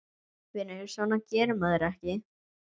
Vinur, svona gerir maður ekki!